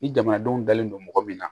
Ni jamanadenw dalen don mɔgɔ min na